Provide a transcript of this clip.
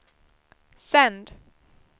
sänd